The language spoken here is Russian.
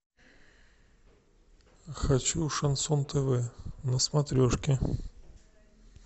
хочу шансон тв на смотрешке